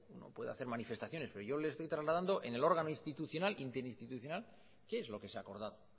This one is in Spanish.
uno puede hacer manifestaciones pero yo le estoy trasladando en el órgano institucional interinstitucional qué es lo que se ha acordado